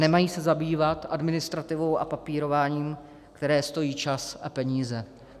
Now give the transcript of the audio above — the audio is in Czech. Nemají se zabývat administrativou a papírováním, které stojí čas a peníze.